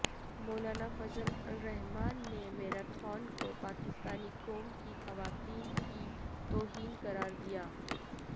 مولانہ فضل الرحمان نےمیراتھن کو پاکستانی قوم کی خواتین کی توہین قرار دیا